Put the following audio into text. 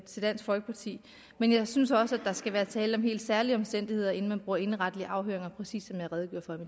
til dansk folkeparti men jeg synes også der skal være tale om helt særlige omstændigheder inden man bruger indenretlige afhøringer præcis